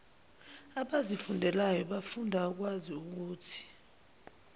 abazifundelwayo bafunda ukwaziukuthi